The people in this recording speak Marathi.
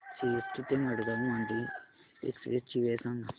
सीएसटी ते मडगाव मांडवी एक्सप्रेस ची वेळ सांगा